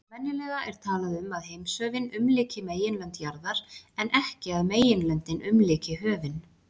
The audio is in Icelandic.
Venjulega er talað um að heimshöfin umlyki meginlönd jarðar en ekki að meginlöndin umlyki höfin.